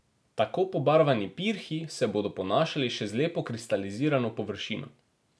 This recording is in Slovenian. Tako pobarvani pirhi se bodo ponašali še z lepo kristalizirano površino.